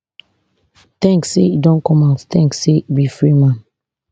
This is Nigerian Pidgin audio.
thanks say e don come out thanks say e be free man